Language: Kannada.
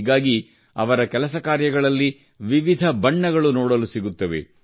ಹೀಗಾಗಿ ಅವರ ಕೆಲಸ ಕಾರ್ಯಗಳಲ್ಲಿ ವಿವಿಧ ಬಣ್ಣಗಳು ನೋಡಲು ಕಾಣಸಿಗುತ್ತವೆ